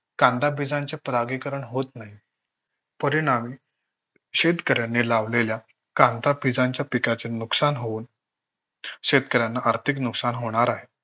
कांदाबीजाचे परागीकरण होत नाही. परिणामी शेतकऱ्याने लावलेल्या कांदाबीजाच्या पिकाचे नुकसान होऊन शेतकऱ्यांना आर्थिक नुकसान होणार आहे.